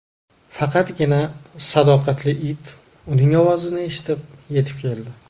Faqatgina sadoqatli it uning ovozini eshitib, yetib keldi.